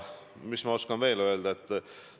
Mis ma oskan veel öelda?